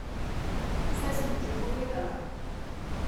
Saj sem ti že povedala.